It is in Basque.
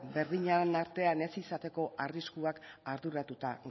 berdinen artean ez izateko arriskuak arduratuta